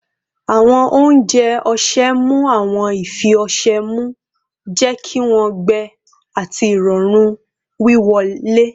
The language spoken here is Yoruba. Awọn ounjẹ ọṣẹ mu awọn ifi ọṣẹ mu, jẹ ki wọn gbẹ ati irọrun wiwọle